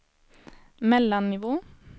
mellannivå